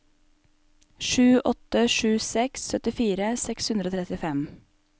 sju åtte sju seks syttifire seks hundre og trettifem